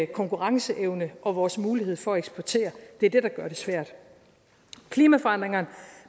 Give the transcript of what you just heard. konkurrenceevne og vores mulighed for at eksportere det er det der gør det svært klimaforandringerne